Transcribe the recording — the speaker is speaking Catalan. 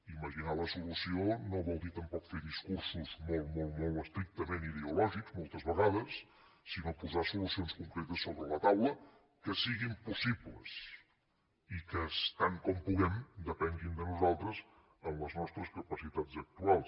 imaginar la solució no vol dir tampoc fer discursos molt molt estrictament ideològics moltes vegades sinó posar solucions concretes sobre la taula que siguin possibles i que tant com puguem depenguin de nosaltres amb les nostres capacitats actuals